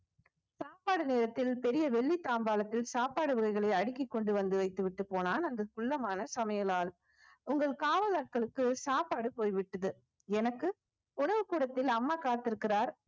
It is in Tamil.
சாப்பாடு நேரத்தில் பெரிய வெள்ளி தாம்பாளத்தில் சாப்பாடு வகைகளை அடுக்கி கொண்டு வந்து வைத்து விட்டு போனான் அங்கு குள்ளமான சமையலால் உங்கள் காவலாட்களுக்கு சாப்பாடு போய்விட்டது எனக்கு உணவு கூடத்தில் அம்மா காத்திருக்கிறார்